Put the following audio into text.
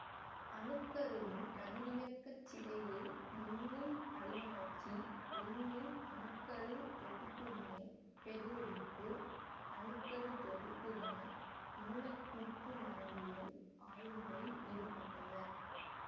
அணுக்கருவின் கதிரியக்கச் சிதைவு விண்மீன் படிமலர்ச்சி விண்மீன் அணுக்கருத் தொகுப்பு வினை பெருவெடிப்பு அணுக்கருத் தொகுப்பு வினை மூலக்கூற்று மரபியல் ஆய்வுகளில் ஈடுபட்டவர்